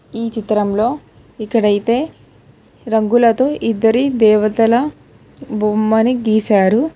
ఈ చిత్రంలో ఇక్కడైతే రంగులతో ఇద్దరి దేవతల బొమ్మని గీశారు.